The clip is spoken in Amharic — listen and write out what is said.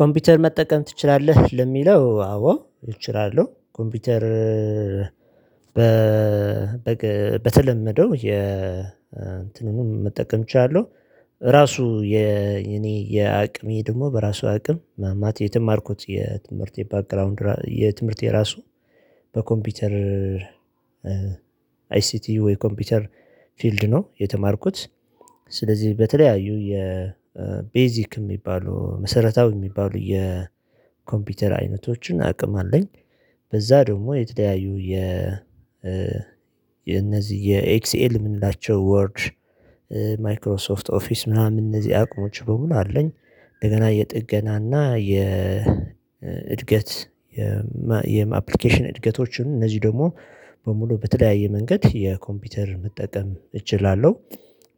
ኮምፒውተር መጠቀም ትችላለህ? ለሚለው አዎ እችላለሁ ኮምፒውተር፤ በበግ በተለመደው የ እንትኑን መጠቀም እችላለሁ ራሱ የእኔ የአቅሜ ደግሞ በራሱ አቅም ማለት የተማርኩት የትምህርት ባክግራውንድ የትምህርቴ ራሱ በኮምፒውተር አይሲቲ ወይ ኮምፒውተር ፊልድ ነው የተማርኩት ስለዚህ በተለያዩ የቤዚክ የሚባሉ መሰረታዊ የሚባሉ የኮምፒውተር አይነቶችን አቅም አለኝ በዛ ደግሞ የተለያዩ የ የነዚህ የኤክስኤል የምንላቸው ወርድ ማይክሮሶፍት ኦፊስ ምናምን እነዚህ አቅሞች በሙሉ አለኝ እንደገና የጥገናና የእድገት የአፕሊኬሽን እድገቶችን እነዚህ ደግሞ በሙሉ በተለያየ መንገድ የኮምፒውተር መጠቀም እችላለሁ፤